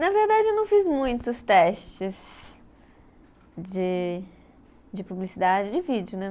Na verdade, eu não fiz muitos testes de de publicidade, de vídeo, né?